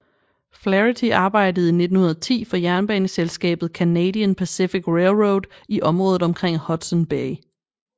Flaherty arbejdede i 1910 for jernbaneselskabet Canadian Pacific Railroad i området omkring Hudson Bay